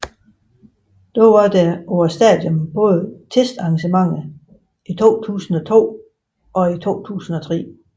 Dog var der på stadionet både testarrangementer i 2002 og i 2003